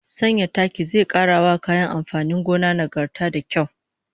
Sanya taki zai kara wa kayan amfanin gona nagarta da kyau